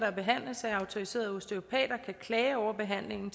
behandles af autoriserede osteopater at klage over behandlingen